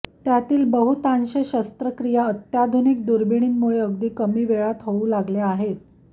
त्यातील बहुतांश शस्त्रक्रिया अत्याधुनिक दुर्बिणींमुळे अगदी कमी वेळात होऊ लागल्या आहेत